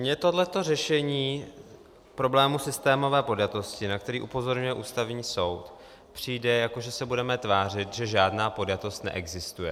Mně tohle řešení problému systémové podjatosti, na který upozorňuje Ústavní soud, přijde, jako že se budeme tvářit, že žádná podjatost neexistuje.